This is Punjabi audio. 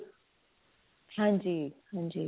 ਹਾਂਜੀ ਹਾਂਜੀ